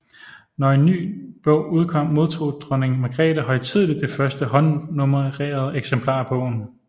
Når en ny bog udkom modtog dronning Magrethe højtideligt det første håndnummerede eksemplar af bogen